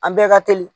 An bɛɛ ka teli